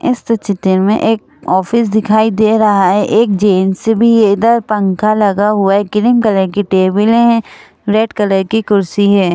इस तो चित्र में एक ऑफिस दिखाई दे रहा है एक जींस भी इधर पंखा लगा हुआ है क्रीम कलर की टेबलें हैं रेड कलर की कुर्सी है।